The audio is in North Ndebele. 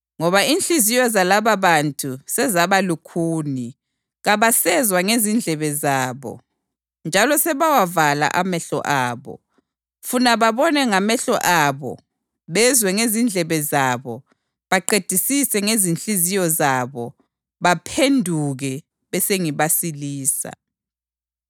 Ngoba inhliziyo zalababantu sezaba lukhuni; kabasezwa ngezindlebe zabo njalo sebawavala amehlo abo. Funa babone ngamehlo abo, bezwe ngezindlebe zabo, baqedisise ngezinhliziyo zabo, baphenduke bese ngibasilisa.’ + 13.15 U-Isaya 6.9-10